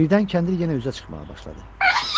Birdən kəndir yenə üzə çıxmağa başladı.